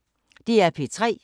DR P3